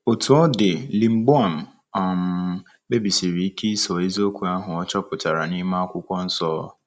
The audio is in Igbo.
Otú ọ dị, Lingbaoan um kpebisiri ike ịso eziokwu ahụ ọ chọpụtara n’ime Akwụkwọ Nsọ.